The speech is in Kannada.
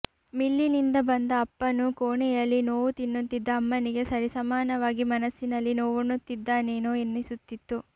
ಮಿಲ್ಲಿನಿಂದ ಬಂದ ಅಪ್ಪನೂ ಕೋಣೆಯಲ್ಲಿ ನೋವು ತಿನ್ನುತ್ತಿದ್ದ ಅಮ್ಮನಿಗೆ ಸರಿಸಮಾನವಾಗಿ ಮನಸ್ಸಿನಲ್ಲಿ ನೋವುಣ್ಣುತ್ತಿದ್ದಾನೇನೋ ಎನಿಸುತ್ತಿತ್ತು